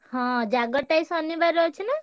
ହଁ ଜାଗର ଟା ଏଇ ଶନିବାରେ ଅଛି ନା?